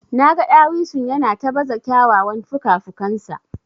Naga dawisun yana ta baza kyawawan fukafukansa.